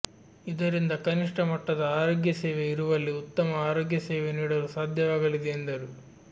ಇದರಿಂದ ಕನಿಷ್ಠ ಮಟ್ಟದ ಆರೋಗ್ಯ ಸೇವೆ ಇರುವಲ್ಲಿ ಉತ್ತಮ ಆರೋಗ್ಯ ಸೇವೆ ನೀಡಲು ಸಾಧ್ಯವಾಗಲಿದೆ ಎಂದರು